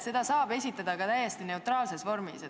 Seda saab esitada ka täiesti neutraalses vormis.